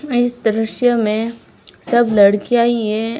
मैं इस दृश्य में सब लड़कियां ही हैं।